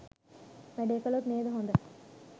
වැඩේ කලොත් නේද හොඳ?